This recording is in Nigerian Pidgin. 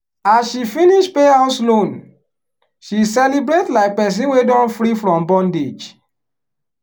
as she finish pay house loan she celebrate like person wey don free from bondage.